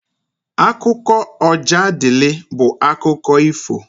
Akụkọ Ojadịlị bụ akụkọ ifo.